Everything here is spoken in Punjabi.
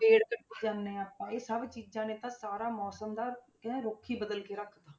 ਪੇੜ ਕੱਟੀ ਜਾਂਦੇ ਹਾਂ ਆਪਾਂ, ਇਹ ਸਭ ਚੀਜ਼ਾਂ ਨੇ ਤਾਂ ਸਾਰਾ ਮੌਸਮ ਦਾ ਕਹਿੰਦੇ ਰੁੱਖ ਹੀ ਬਦਲ ਕੇ ਰੱਖ ਦਿੱਤਾ।